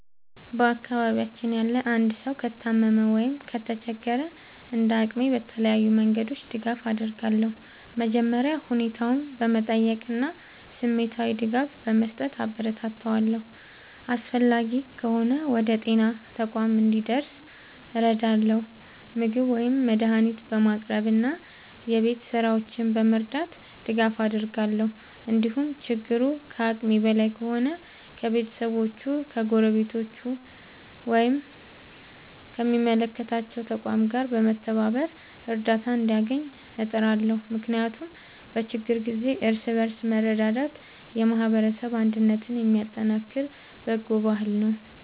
በአካባቢያችን ያለ አንድ ሰው ከታመመ ወይም ከተቸገረ፣ እንደ አቅሜ በተለያዩ መንገዶች ድጋፍ አደርጋለሁ። መጀመሪያ ሁኔታውን በመጠየቅ እና ስሜታዊ ድጋፍ በመስጠት አበረታታዋለሁ። አስፈላጊ ከሆነ ወደ ጤና ተቋም እንዲደርስ እረዳለሁ፣ ምግብ ወይም መድኃኒት በማቅረብ እና የቤት ሥራዎቹን በመርዳት ድጋፍ አደርጋለሁ። እንዲሁም ችግሩ ከአቅሜ በላይ ከሆነ ከቤተሰቦቹ፣ ከጎረቤቶች ወይም ከሚመለከታቸው ተቋማት ጋር በመተባበር እርዳታ እንዲያገኝ እጥራለሁ። ምክንያቱም በችግር ጊዜ እርስ በርስ መረዳዳት የማህበረሰብ አንድነትን የሚያጠናክር በጎ ባህል ነው።